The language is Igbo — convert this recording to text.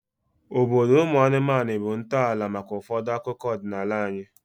Obodo ụmụ anụmanụ bụ ntọala maka ụfọdụ akụkọ ọdịnala anyị